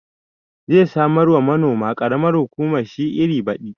Zai samar wa manoman ƙaramar hukumar shi iri baɗi